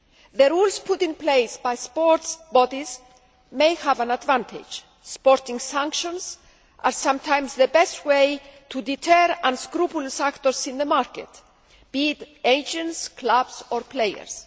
The rules put in place by sports bodies may have an advantage sporting sanctions are sometimes the best way to deter unscrupulous actors in the market, be they agents, clubs or players.